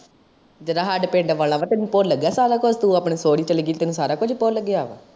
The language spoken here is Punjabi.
ਜਿਹੜਾ ਸਾਡੇ ਪਿੰਡ ਵਾਲਾ ਵਾ ਤੈਨੂੰ ਭੁੱਲ ਗਯਾ ਸਾਰਾ ਕੁਜ, ਤੂੰ ਆਪਣੇ ਸੋਹੁਰੇ ਚਲੀ ਗਯੀ ਤੈਨੂੰ ਸਾਰਾ ਕੁਜ ਭੁੱਲ ਗਯਾ ਵਾ।